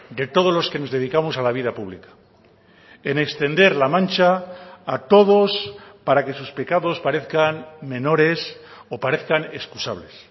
de todos los que nos dedicamos a la vida pública en extender la mancha a todos para que sus pecados parezcan menores o parezcan excusables